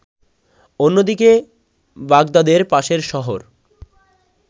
অন্যদিকে বাগদাদের পাশের শহর